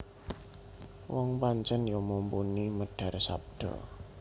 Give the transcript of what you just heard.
Wong pancen ya mumpuni medhar sabda